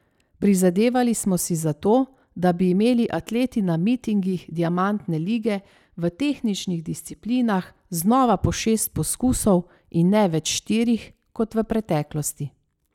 Prizadevali smo si za to, da bi imeli atleti na mitingih diamantne lige v tehničnih disciplinah znova po šest poskusov in ne več štirih, kot v preteklosti.